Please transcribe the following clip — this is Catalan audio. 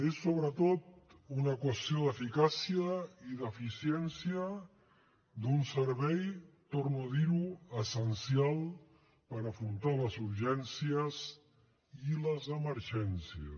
és sobretot una qüestió d’eficàcia i d’eficiència d’un servei torno a dir ho essencial per afrontar les urgències i les emergències